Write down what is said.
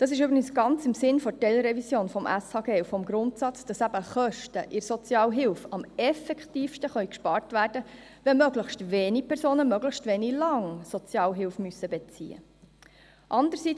Dies ist übrigens ganz im Sinne der Teilrevision des SHG und des Grundsatzes, dass eben Kosten in der Sozialhilfe am effektivsten gespart werden können, wenn möglichst wenige Personen möglichst wenig lange Sozialhilfe beziehen müssen.